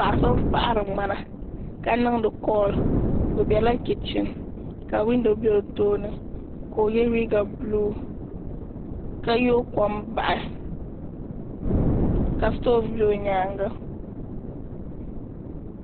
Paɣa so n paɣari ŋmana ka niŋdi kooli o bela kichin ka windo be o tooni ka o ye liiga buluu ka yoogi kom bahi ka sitofu be o nyaanga.